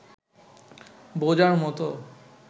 বোঝার মতো